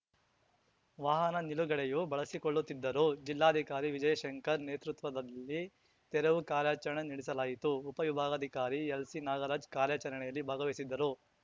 ವಾಹನ ನಿಲುಗಡೆಯೂ ಬಳಸಿಕೊಳ್ಳುತ್ತಿದ್ದರು ಜಿಲ್ಲಾಧಿಕಾರಿ ವಿಜಯ್‌ಶಂಕರ್ ನೇತೃತ್ವದಲ್ಲಿ ತೆರವು ಕಾರ್ಯಾಚರಣೆ ನಡೆಸಲಾಯಿತು ಉಪವಿಭಾಗಾಧಿಕಾರಿ ಎಲ್‌ಸಿನಾಗರಾಜ್ ಕಾರ್ಯಾಚರಣೆಯಲ್ಲಿ ಭಾಗವಹಿಸಿದ್ದರು